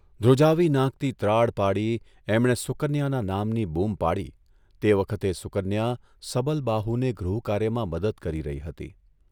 ધ્રુજાવી નાંખતી ત્રાડ પાડી એમણે સુકન્યાના નામની બૂમ પાડી તે વખતે સુકન્યા સબલબાહુને ગૃહકાર્યમાં મદદ કરી રહી હતી.